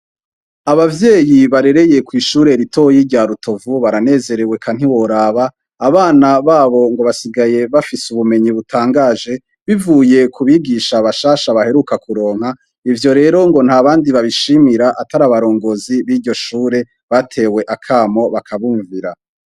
Abavyeyi barereye kw'ishure ritoya rya Rutovu baranezerewe eka ntiworaba; abana babo ngo basigaye bafise ubumenyi butangaje bivuye kubigisha bashasha baheruka kuronka. Ivyo rero ngo ntabandi babishimira Atari abarongozi biryoshure batewe akamo bakabumvira.